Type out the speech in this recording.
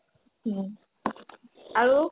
অ, আৰু